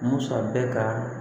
Musa bɛ ka